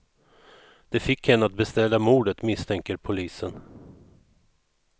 Det fick henne att beställa mordet, misstänker polisen.